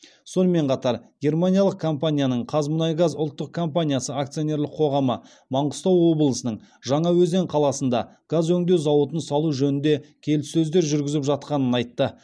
сонымен қатар германиялық компанияның қазмұнайгаз ұлттық компаниясы акционерлік қоғамы маңғыстау облысының жаңаөзен қаласында газ өңдеу зауытын салу жөнінде келіссөздер жүргізіп жатқанын айтты